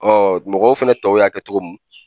Ɔ mɔgɔw fɛnɛ tɔw y'a kɛ togo mun